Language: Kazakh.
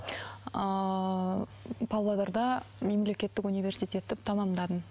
ыыы павлодарда мемлекеттік университетті тамамдадым